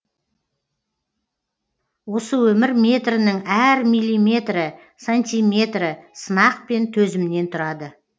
осы өмір метрінің әр миллиметрі сантиметрі сынақ пен төзімнен тұрады